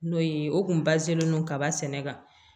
N'o ye o kun bazin don kaba sɛnɛ